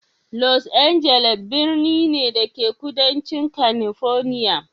Los Angeles birni ne, da ke kudancin California.